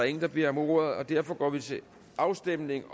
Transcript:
ingen der beder om ordet derfor går vi til afstemning